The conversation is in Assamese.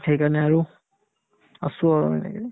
সেইকাৰণে আৰু আছো আৰু আমি এনেকে